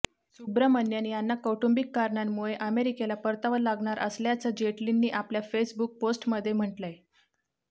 सुब्रमण्यन यांना कौटुंबिक कारणांमुळे अमेरिकेला परतावं लागणार असल्याचं जेटलींनी आपल्या फेसबुक पोस्टमध्ये म्हटलंय